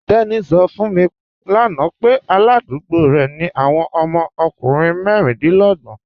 Teni sọ̀ fún mi lána pẹ̀ aládùgbò rẹ ni awọn ọmọ ọkùnrin mẹríndínlọ̀gbọn